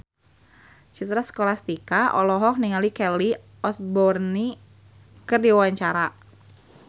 Citra Scholastika olohok ningali Kelly Osbourne keur diwawancara